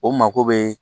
O mako bɛ